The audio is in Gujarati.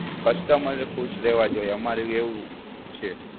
customer ખુશ રહેવા જોઈએ, અમારું એવું છે.